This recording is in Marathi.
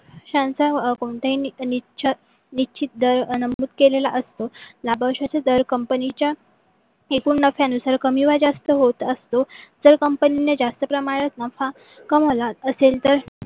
छानस कोणताही निश्चित दर नमूद केलेल्या असतो. लाभांश दर कंपनीच्या एकूण नफ्यानुसार कमी व जास्त असतो तर कंपनीने जास्त प्रमाणात नफा कामवला असेल तर